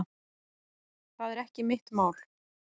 Það er ekki mitt mál.